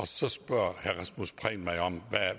så spørger herre rasmus prehn mig om